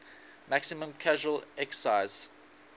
maximum casual excise